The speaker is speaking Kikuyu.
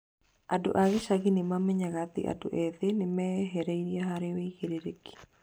Andũ a gĩcagi nĩ maamenyaga atĩ andũ ethĩ nĩ meeharĩirie harĩ wĩigĩrĩrĩki.